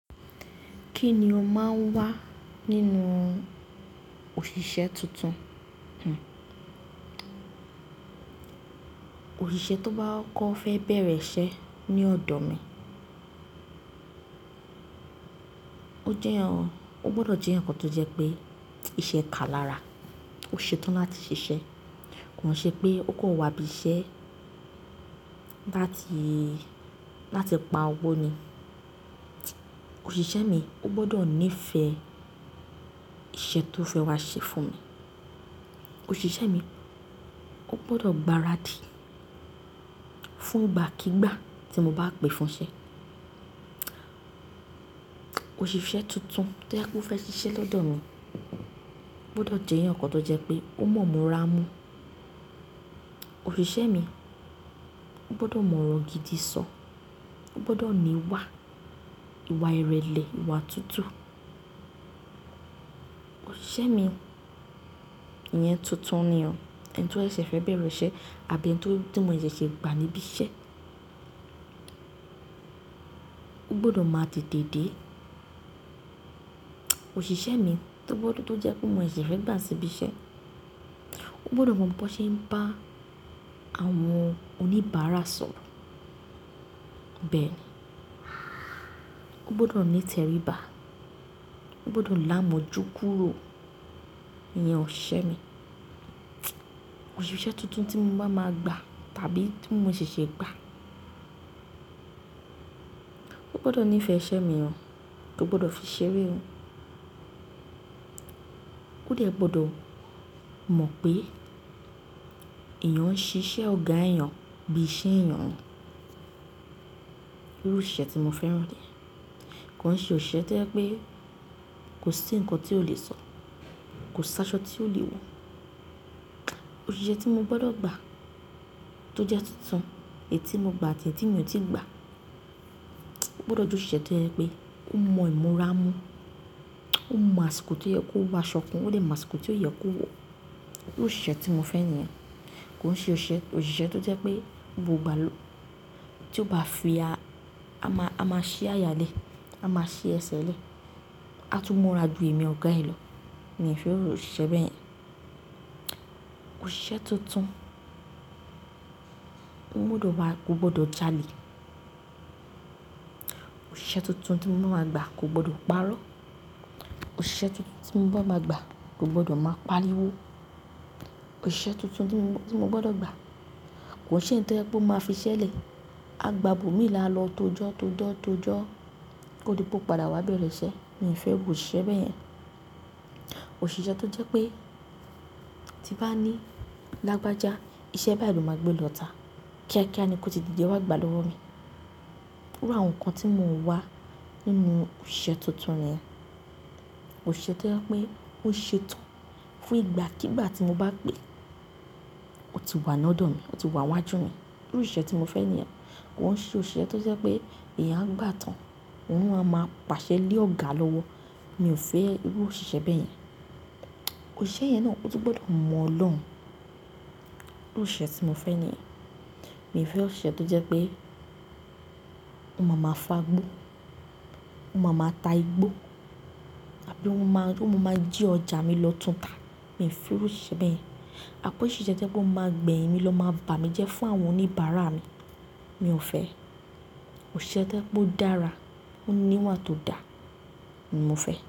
Kí ni o máa ń wá nínú òṣìṣẹ́ tuntun? Òṣìṣẹ́ tó bá fẹ́ bẹ̀rẹ̀ iṣẹ́ ní ọ̀dọ̀ mi, ó gbọdọ̀ jẹ́ eyan kan tó jẹ́ pé iṣẹ́ kà lára. Ó ṣetán láti ṣiṣẹ́, kò hán ṣe pé ó kò wá ibi iṣẹ́ láti pa owó ni. Òṣìṣẹ́ mi ó gbọdọ̀ nífẹ̀ẹ́ iṣẹ́ tó fẹ́ wá ṣe fún mi. Òṣìṣẹ́ mi ógbọdọ̀ gbaradì fún ìgbàkígbà tí mo bá pè fún iṣẹ́. Òṣìṣẹ́ tuntun tí o fẹ́ ṣiṣẹ́ lọ́dọ̀ mi ogbọ́dọ̀ jẹ eyan kan tó jẹ́ pé ó mọ̀ ìmúra mu. Òṣìṣẹ́ mi ógbọdọ̀ mọ̀ ọ̀rọ̀ gidi sọ. Ó gbọdọ̀ ní ìwà, ìwà ìrẹ̀lẹ̀, ìwà tútù. Òṣìṣẹ́ mi yẹn tuntun ni o, ẹni tí ó ṣẹ̀ fẹ́ bẹ̀rẹ̀ iṣẹ́ àbí ẹni tí, tí mo ṣì ṣe gbà níbí iṣẹ́, ó gbọdọ̀ máa tètè dé. Òṣìṣẹ́ mi tó jẹ́ pé mo ṣe ṣe fẹ́ gbà síbí iṣẹ́, ó gbọdọ̀ mọ̀ bó ṣe ń bá àwọn oníbàárà sọ̀rọ̀, bẹ́ẹ̀ ni. Ó gbọdọ̀ ní ìteribá. Ó gbọdọ̀ láàmú jú kúrò, ìyẹn òṣìṣẹ́ mi. Òṣìṣẹ́ tuntun tí mo bá máa gba tàbí tí mo ṣe ṣe gbà, ó gbọdọ̀ nífẹ̀ẹ́ iṣẹ́ mi o. Kò gbọdọ̀ fi ṣeré o. Ó dẹ gbọdọ̀ mọ̀ pé eyan ń ṣiṣẹ́ ọ̀gá ẹyan bí iṣẹ́ èèyàn ni. Irú òṣìṣẹ́ tí mo fẹ́ ràn ni ye. Kò ṣe òṣìṣẹ́ tío jẹ pé kò sí ǹkan tí ó le sọ, kò sí aṣọ tí ó le wọ̀. Òṣìṣẹ́ tí mo gbọdọ̀ gba tó jẹ́ tuntun, èyí tí mo gba àti èyí tí mi ò tí gba, ó gbọdọ̀ jẹ òṣìṣẹ́ tí o jẹ pé ó mọ̀ ìmúra mu. Ó mọ àsìkò tí ó yẹ kó wọ aṣọ kan, ó di ẹ mọ àsìkò tí ó yẹ kó wọ̀. Irú òṣìṣẹ́ tí mo fẹ́ ni ye. Kò ṣe òṣìṣẹ́, òṣìṣẹ́ tó jẹ́ pé gbogbo ìgbà ló, tí ó bá fi a, a máa, a máa ṣí àyà lẹ̀, a máa ṣí ẹsẹ̀ lẹ̀, a tún múra jù èmi ọ̀gá ẹ lọ. Mi ò fẹ́ irú òṣìṣẹ́ bẹ́yẹn. Òṣìṣẹ́ tuntun kó gbọdọ̀ máa, kò gbọdọ̀ jalè. Òṣìṣẹ́ tuntun tí mo máa gba kò gbọdọ̀ parọ́. Òṣìṣẹ́ tuntun tí mo bá máa gba kò gbọdọ̀ máa pariwo. Òṣìṣẹ́ tuntun tí mo, tí mo gbọdọ̀ gba kò ṣe èyí tí o jẹ pé ó máa fiṣẹ́ lẹ̀, a gba ibo mi lọ alọ tojọ́ tojọ́ tojọ́ kó di pé ó padà wá bẹ̀rẹ̀ iṣẹ́. Mi ò fẹ́ irú òṣìṣẹ́ bẹ́yẹn. Òṣìṣẹ́ tó jẹ́ pé tí bá ní lágbájá, iṣẹ́ báyi ló máa gbé lọ ta. Kíákíá ni kò tí didẹ́ wá gbà lọ́wọ́ mi. Irú àwọn ǹkan tí mo ń wá nínú òṣìṣẹ́ tuntun niye, òṣìṣẹ́ tí ojẹ pé ó ṣetán fún ìgbàkígbà tí mo bá pè, ó ti wà lọ́dọ̀ mi, ó ti wà wájú mi. Irú iṣẹ́ tí mo fẹ́ ni o. Kò ṣe òṣìṣẹ́ tó jẹ́ pé èèyàn á gbátan, ohún ló amáa ma pàṣẹ lé ọ̀gá lọ́wọ́. Mi ò fẹ́ irú òṣìṣẹ́ bẹ́yẹn. Òṣìṣẹ́ yẹn náà ótu gbọdọ̀ mọ Ọlọ́run. Irú òṣìṣẹ́ tí mo fẹ́ ni ye. Mi ò fẹ́ òṣìṣẹ́ tó jẹ́ pé ó máa máa fagbó, ó máa máa ta igbó àbí ó máa, ó máa jí ọjà mi lọ tun ta. Mi ò fẹ́ irú òṣìṣẹ́ bẹ́yẹn. Mio fẹ́ òṣìṣẹ́ tó jẹ́ pé ó máa gba eyin mí lọ máa bà mí jẹ fún àwọn oníbàárà mi, mi ò fẹ́ ẹ. Òṣìṣẹ́ tó jẹ pé odára, ó ní ìwà tó dà ni mo fẹ́.